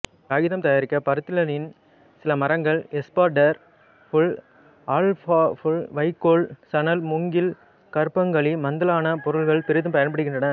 காகிதம் தயாரிக்க பருத்திலினன் சிலமரங்கள் எஸ்பாா்டோ் புல் ஆல்ஃபாபுல் வைக்கோல் சணல் மூங்கில் கருப்பாங்கழி மதலான பொருள்கள் பொிதும் பயன்படுகின்றன